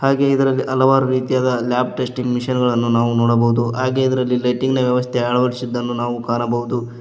ಹಾಗೆ ಇದ್ರಲ್ಲಿ ಹಲವಾರು ರೀತಿಯಾದ ಲ್ಯಾಬ್ ಟೆಸ್ಟಿಂಗ್ ಮಿಷಿನ್ ಗಳನ್ನು ನಾವು ನೋಡಬಹುದು ಹಾಗೆ ಇದ್ರಲ್ಲಿ ಲೈಟಿಂಗ್ ನ ವ್ಯವಸ್ಥೆ ಅಳವಡಿಸಿದ್ದನ್ನು ನಾವು ಕಾಣಬಹುದು.